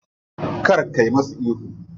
Kar ka musu ihu.